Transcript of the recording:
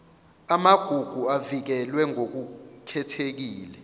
amagugu avikelwe ngokukhethekile